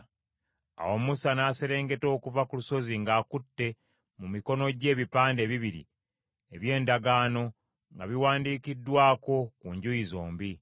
Awo Musa n’aserengeta okuva ku lusozi ng’akutte mu mikono gye ebipande ebibiri eby’Endagaano, nga biwandiikiddwako ku njuyi zombi.